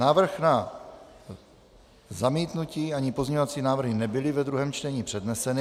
Návrh na zamítnutí ani pozměňovací návrhy nebyly ve druhém čtení předneseny.